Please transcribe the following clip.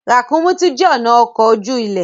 Ràkúnmí tún jé ọnà ọkọ oju-ile.